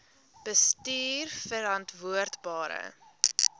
bestuurverantwoordbare